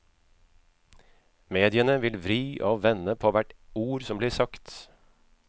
Mediene vil vri og vende på hvert ord som blir sagt.